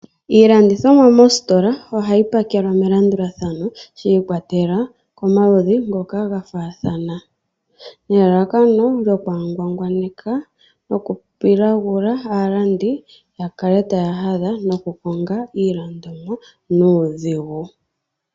Iilandithomwa moositola ohayi pakelwa melandulathano shiikwatelela komaludji ngoka gafaathana nelalakano lyokwaangwangwaneka noku pilagula aalandi yakale taya hadha noku konga iilandomwa nuudhigu.